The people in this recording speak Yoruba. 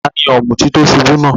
Tani òmùtí tí o ṣubú náà?